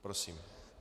Prosím.